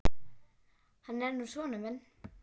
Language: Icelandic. Hann er nú sonur minn.